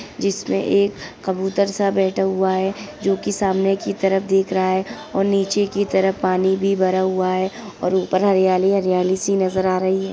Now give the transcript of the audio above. जिसमे एक कबूतर सा बैठा हुआ है। जो कि सामने की तरफ देख रहा है और नीचे की तरफ पानी भी भरा हुआ है और ऊपर हरियाली - हरियाली सी नज़र आ रही है।